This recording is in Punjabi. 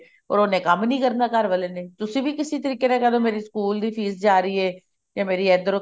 or ਕੰਮ ਨੀ ਕਰਨਾ ਘਰ ਵਾਲੇ ਨੇ ਤੁਸੀਂ ਵੀ ਕਿਸੇ ਤਰੀਕੇ ਨਾਲ ਕਿਹ ਦੋ ਮੇਰੀ ਸਕੂਲ ਦੀ fees ਜਾ ਰਹੀ ਹੈ ਤੇ ਮੇਰੀ ਇੱਧਰੋ